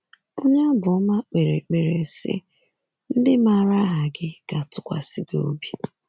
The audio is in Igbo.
Onye Abụọma kpere ekpere sị: “ Ndị maara aha gi ga-atụkwasị gi obi."